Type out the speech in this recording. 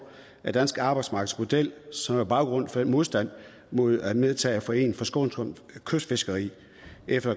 den danske arbejdsmarkedsmodel som baggrunden for den modstand mod at medtage foreningen for skånsomt kystfiskeri efter